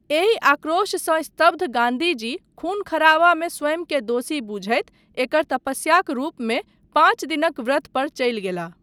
एहि आक्रोशसँ स्तब्ध गान्धीजी खून खराबामे स्वयंकेँ दोषी बुझैत एकर तपस्याक रूपमे पाञ्च दिनक व्रत पर चलि गेलाह।